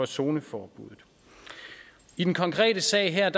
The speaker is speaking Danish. zoneforbuddet i den konkrete sag her